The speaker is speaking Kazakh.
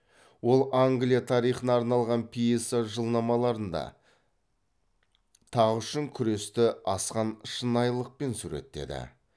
ол англия тарихына арналған пьеса жылнамаларында тақ үшін күресті асқан шынайылықпен суреттеді